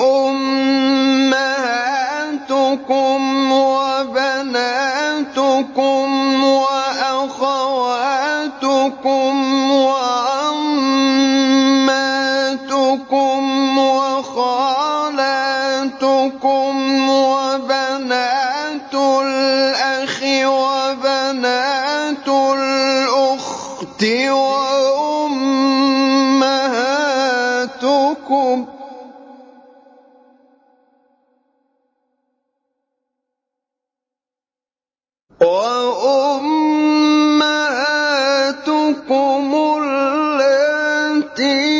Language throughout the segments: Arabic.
أُمَّهَاتُكُمْ وَبَنَاتُكُمْ وَأَخَوَاتُكُمْ وَعَمَّاتُكُمْ وَخَالَاتُكُمْ وَبَنَاتُ الْأَخِ وَبَنَاتُ الْأُخْتِ وَأُمَّهَاتُكُمُ اللَّاتِي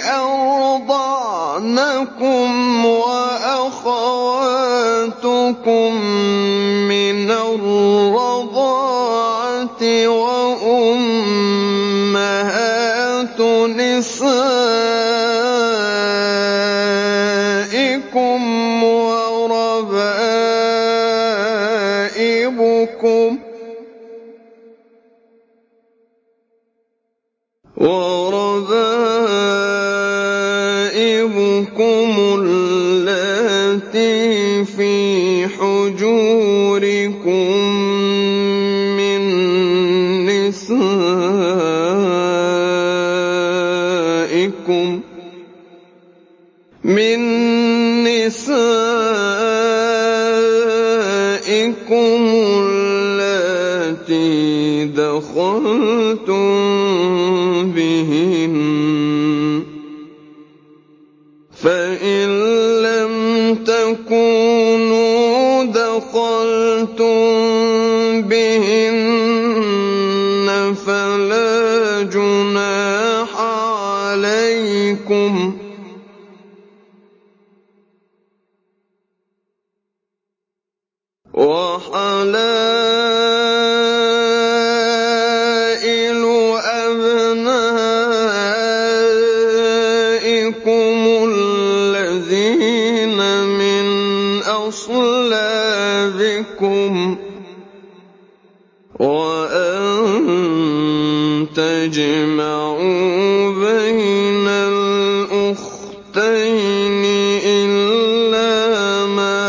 أَرْضَعْنَكُمْ وَأَخَوَاتُكُم مِّنَ الرَّضَاعَةِ وَأُمَّهَاتُ نِسَائِكُمْ وَرَبَائِبُكُمُ اللَّاتِي فِي حُجُورِكُم مِّن نِّسَائِكُمُ اللَّاتِي دَخَلْتُم بِهِنَّ فَإِن لَّمْ تَكُونُوا دَخَلْتُم بِهِنَّ فَلَا جُنَاحَ عَلَيْكُمْ وَحَلَائِلُ أَبْنَائِكُمُ الَّذِينَ مِنْ أَصْلَابِكُمْ وَأَن تَجْمَعُوا بَيْنَ الْأُخْتَيْنِ إِلَّا مَا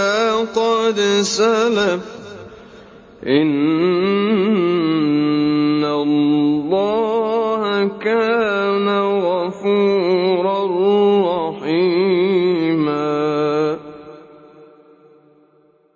قَدْ سَلَفَ ۗ إِنَّ اللَّهَ كَانَ غَفُورًا رَّحِيمًا